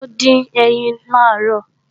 Taló dín ẹyin làárọ̀?